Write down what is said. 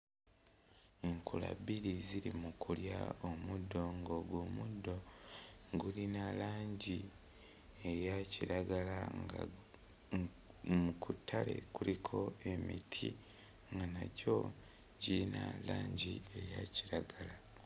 Enkula bbiri eziri mu kulya omuddo ng'omuddo gulina langi eya kiragala. Ku ttale kuliko emiti nga nagyo girina langi eya kiragala.